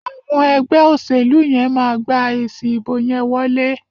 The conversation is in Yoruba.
Àwọn ẹgbẹ́ òṣèlú yẹn máa gba èsi ìbò yẹn wọlé.